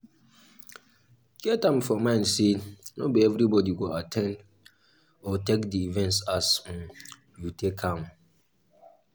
get am for mind sey no be everybody go at ten d or take di event as um you take am